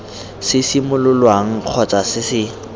se simololwang kgotsa se se